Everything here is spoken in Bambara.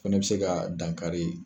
Fɛnɛ be se ka dan kari